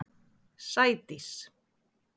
Sædís